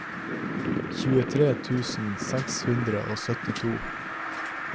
tjuetre tusen seks hundre og syttito